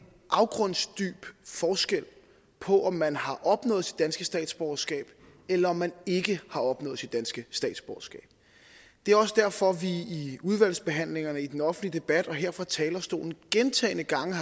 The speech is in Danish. afgrundsdyb forskel på om man har opnået sit danske statsborgerskab eller om man ikke har opnået sit danske statsborgerskab det er også derfor vi i udvalgsbehandlingerne i den offentlige debat og her fra talerstolen gentagne gange